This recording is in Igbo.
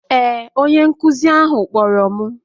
Ee, onye nkụzi ahụ kpọrọ m